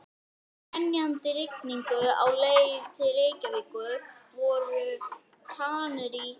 Í grenjandi rigningunni á leið til Reykjavíkur voru Kanarí